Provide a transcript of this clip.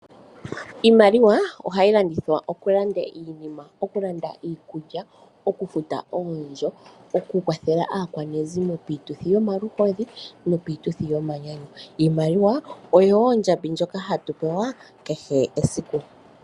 Iimaliwa ohayi longithwa okulanda iinima okulanda iikulya, oku futa oondjo oku kwathela aakwanezimo piituthi yomaluhodhi nopiituthi yomanyanyu. Iimaliwa oyo wo ondjambi ndjoka hatu pewa kehe esiku.